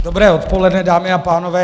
Dobré odpoledne, dámy a pánové.